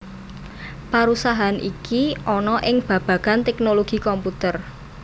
Parusahan iki ana ing babagan tèknologi komputer